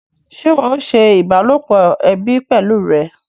Ṣé ìwọ o ṣe ìbálòpọ̀ ẹbí pẹlú rẹ?